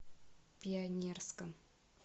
пионерском